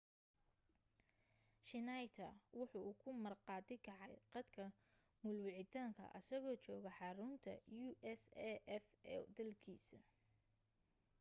schneider waxa uu ku marqaati kacay qadka muul wicitaanka asagoo jooga xarunta usaf ee dalkiisa